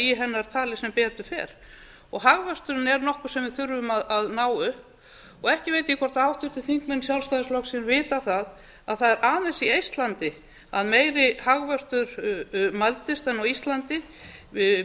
í hennar tali sem betur fer hagvöxturinn er nokkuð sem við þurfum að ná upp og ekki veit ég hvort háttvirtir þingmenn sjálfstæðisflokksins vita að það er aðeins í eistlandi að meiri hagvöxtur mældist en á íslandi miðað